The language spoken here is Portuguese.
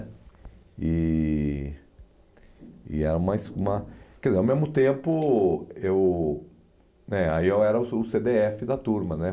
E... E era mais uma... Quer dizer, ao mesmo tempo eu né... Aí eu eu era o o cê dê efe da turma, né?